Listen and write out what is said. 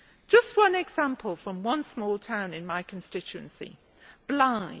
Just one example from one small town in my constituency, Blyth.